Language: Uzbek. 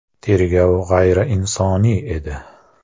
Tergov g‘ayriinsoniy edi.